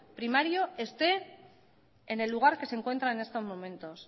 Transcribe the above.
primario esté en el lugar que se encuentra en estos momentos